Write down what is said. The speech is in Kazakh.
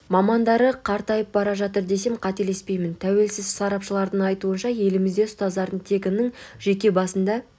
мамандары қартайып бара жатыр десем қателеспеймін тәуелсіз сарапшылардың айтуынша елімізде ұстаздардың тек ының жеке басында